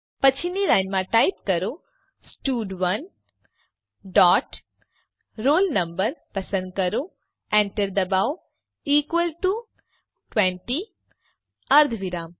પછીની લાઈનમાં ટાઈપ કરો સ્ટડ1 ડોટ roll no પસંદ કરો enter દબાવો ઇકવલ ટુ ૨૦ અર્ધવિરામ